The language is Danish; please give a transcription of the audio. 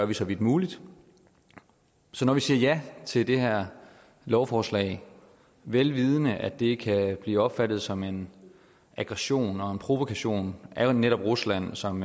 vi så vidt muligt så når vi siger ja til det her lovforslag vel vidende at det kan blive opfattet som en aggression og en provokation af netop rusland som